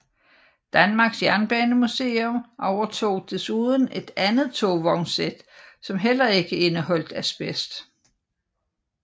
Danmarks Jernbanemuseum overtog desuden et andet tovognssæt som heller ikke indeholdt asbest